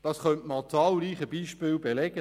«Manchmal haben wir den